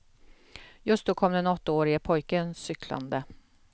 Just då kom den åttaårige pojken cyklande.